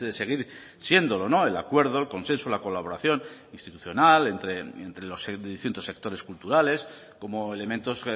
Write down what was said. seguir siéndolo el acuerdo el consenso la colaboración institucional entre los distintos sectores culturales como elementos